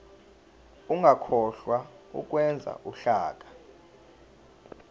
ungakhohlwa ukwenza uhlaka